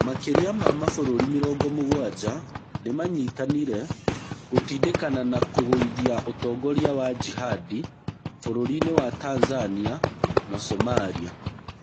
Makĩria ma mabũrũrĩ mĩrongo mũgwanja nĩmanyitanire gũtindĩkana na kũgũithia ũtongoria wa jihadi bũrũrini wa Tanzania na Somaria.